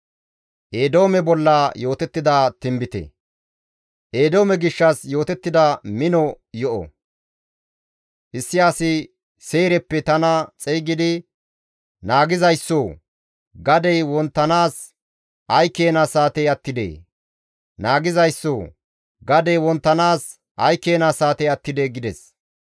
Eedoome gishshas yootettida mino yo7o; issi asi Seyreppe tana xeygidi «Naagizayssoo! Gadey wonttanaas ay keena saatey attidee? Naagizayssoo! Gadey wonttanaas ay keena saatey attidee?» gides.